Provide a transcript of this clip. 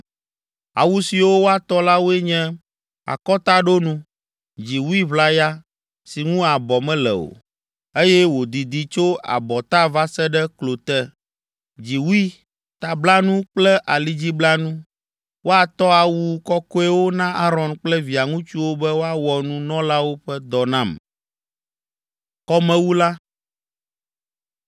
Awu siwo woatɔ la woe nye: akɔtaɖonu, dziwui ʋlaya si ŋu abɔ mele o, eye wòdidi tso abɔta va se ɖe klo te, dziwui, tablanu kple alidziblanu. Woatɔ awu kɔkɔewo na Aron kple via ŋutsuwo be woawɔ nunɔlawo ƒe dɔ nam.